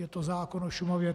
Je to zákon o Šumavě.